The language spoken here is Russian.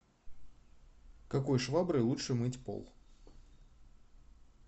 какой шваброй лучше мыть пол